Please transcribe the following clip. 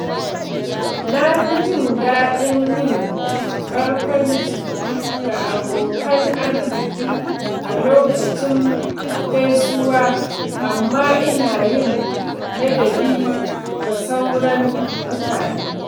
Na fi jin daɗin yin barkwanci ga abokan arziki a lokacin gaisuwa, amma ina yin ladabi ga sauran mutane.